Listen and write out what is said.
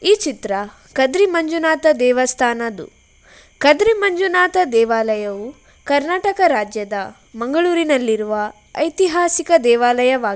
ಈ ಚಿತ್ರ ಕದ್ರಿ ಮಂಜುನಾಥ ದೇವಸ್ತಾನದ್ದು ಕದ್ರಿ ಮಂಜುನಾಥ ದೇವಾಲಯವು ಕರ್ನಾಟಕ ರಾಜ್ಯದ ಮಂಗಳೂರಿನಲ್ಲಿರುವ ಐತಿಹಾಸಿಕ ದೇವಾಲಯವಾಗಿದೆ.